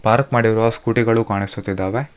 Park ಮಾಡಿರುವ scooty ಗಳು ಕಾಣಿಸುತಿದ್ದಾವೆ.